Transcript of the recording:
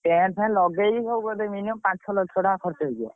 Tent ଫେନଟ ଲଗେଇକି ସବୁ ବୋଧେ minimum ପାଞ୍ଚ ଛଅ ଲକ୍ଷେ ଟଙ୍କା ଖରଚ ହେଇଯିବ।